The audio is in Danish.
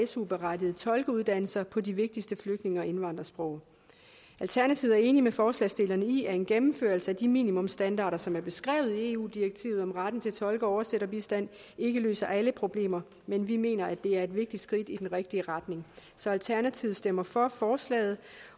su berettigede tolkeuddannelser på de vigtigste flygtninge og indvandrersprog alternativet er enig med forslagsstillerne i at en gennemførelse af de minimumsstandarder som er beskrevet i eu direktivet om retten til tolke og oversætterbistand ikke løser alle problemer men vi mener at det er et vigtigt skridt i den rigtige retning så alternativet stemmer for forslaget